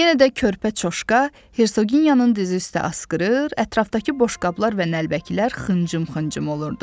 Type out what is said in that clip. Yenə də körpə çoşqa, Hirsoqiyanın diz üstə askırır, ətrafdakı boşqablar və nəlbəkilər xıncım-xıncım olurdu.